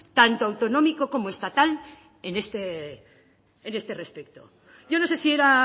tanto autonómico como estatal en este respecto yo no sé si era